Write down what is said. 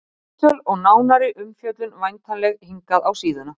Viðtöl og nánari umfjöllun væntanleg hingað á síðuna.